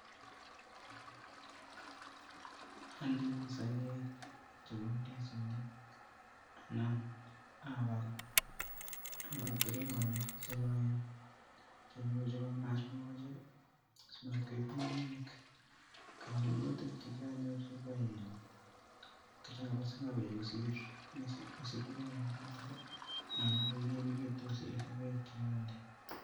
Andoi sogeek chebo indisinik anan abal keringoniik che loen cheimuch koib mokochek, simatkoib ngungunyek, ak tabusiek chekianyorchigei komara kochanga beek kosir, kit neu tuguchoto anan kogimekitun kosir sogeek chekonde